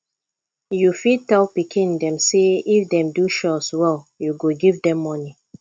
you fit tell pikin dem sey if dem do chores well you go give dem money